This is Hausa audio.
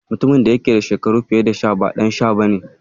Mutumin da ya yake da shekaru fiye da sha tara ba Ɗan sha ba ne.